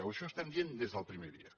això ho estem dient des del primer dia